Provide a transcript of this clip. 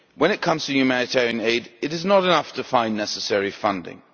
When it comes to humanitarian aid, it is not enough to find necessary funding.